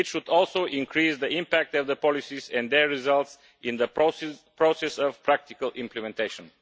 It should also increase the impact of the policies and their results in the process of practical implementation.